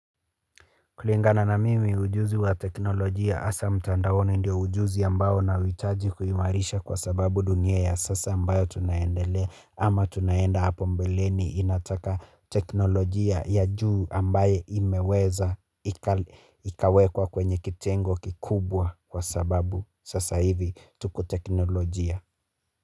Kulingana na mimi ujuzi wa teknologia asa mtandaoni ndio ujuzu ya mbao na witaji kuhi marisha kwa sababu dunye ya sasa mbao tunayendele ama tunayenda hapombeleni inataka teknologia ya juu ambaye imeweza ikawekwa kwenye kitengo kikubwa kwa sababu sasa ivi tuko teknologia.